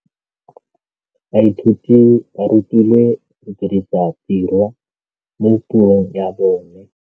Baithuti ba rutilwe go dirisa tirwa mo puong ya bone.